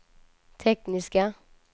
tekniska